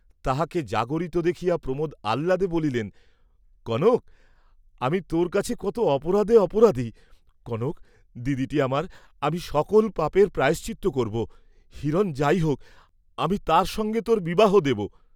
তাহাকে জাগরিত দেখিয়া প্রমোদ আহ্লাদে বলিলেন, কনক, আমি তোর কাছে কত অপরাধে অপরাধী, কনক, দিদিটি আমার, আমি সকল পাপের প্রায়শ্চিত্ত করব; হিরণ যাই হোক, আমি তার সঙ্গে তোর বিবাহ দেব।